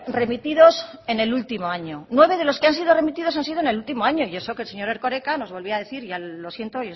remitidos en el último año nueve de los que han sido remitidos han sido en el último año y eso que el señor erkoreka nos volvía a decir ya lo siento